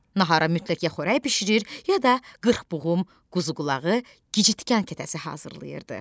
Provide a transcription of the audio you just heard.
Nahara mütləq ya xörək bişirir, ya da qırxbuğum, quzuqulağı, gicitkən kətəsi hazırlayırdı.